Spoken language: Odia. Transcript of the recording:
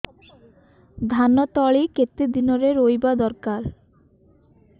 ଧାନ ତଳି କେତେ ଦିନରେ ରୋଈବା ଦରକାର